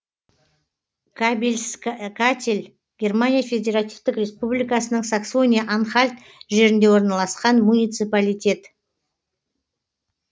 кабельск катель германия федеративтік республикасының саксония анхальт жерінде орналасқан муниципалитет